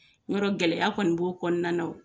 Y'a dɔn gɛlɛya kɔni b'o kɔnɔna wo.